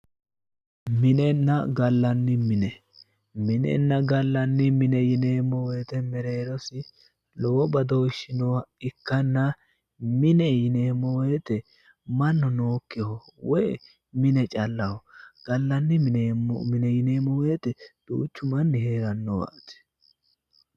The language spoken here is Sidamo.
Minenna gallanni mine, Minenna gallanni mine yineemmo woyiite mereerosi lowo badooshshsi nooha ikkanna mine yineemmo woyiite mannu nookkiho woyi mine callaho, gallanni mine yineemmo woyiite duuchu manni heerannowaati.